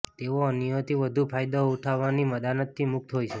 તેઓ અન્યોથી વધુમાં વધુ ફાયદો ઉઠાવવાની દાનતથી મુક્ત હોય છે